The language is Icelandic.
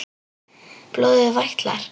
Blóðið vætlar.